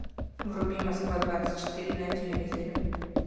вруби москва двадцать четыре на телевизоре